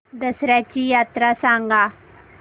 दसर्याची यात्रा सांगा